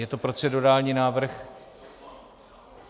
Je to procedurální návrh?